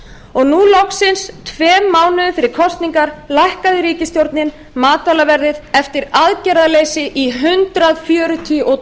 og nú loksins tveimur mánuðum fyrir kosningar lækkaði ríkisstjórnin matvælaverðið eftir aðgerðaleysi í hundrað fjörutíu og